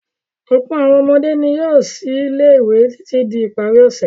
Ọ̀pọ̀ àwọn ọmọdé ni yóò sí ilé-ìwé títí di ìparí ọ̀sẹ̀.